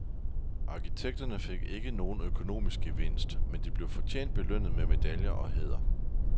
Arkitekterne fik ikke nogen økonomisk gevinst, men de blev fortjent belønnet med medaljer og hæder.